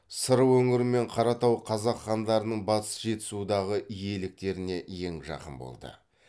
сыр өңірі мен қаратау қазақ хандарының батыс жетісудағы иеліктеріне ең жақын болды